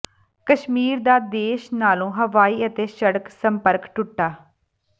ਕਸ਼ਮੀਰ ਦਾ ਦੇਸ਼ ਨਾਲੋਂ ਹਵਾਈ ਅਤੇ ਸੜਕ ਸੰਪਰਕ ਟੁੱਟਾ